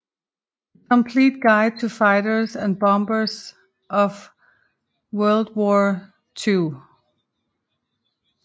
The Complete Guide to Fighters and Bombers of WWII